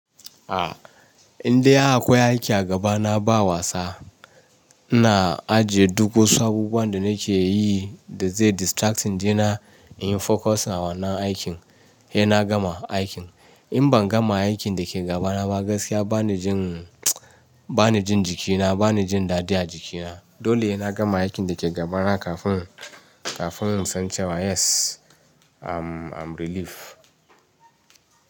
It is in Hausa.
Ah, inda akwai aiki a gaba na ba wasa. Ina ajiye duk wasu abubuwan da nake yi da zai distracting di na in focusing a wannan aikin he na gama aikin. In ban gama aikin da ke gaba na ba gaskiya ba ni jin, ba ni jin jikina, ba ni jin dadi a jikina. Dole hena gama aikin da ke gaba na kafin, kafin in san cewa yes I'm, I'm relief.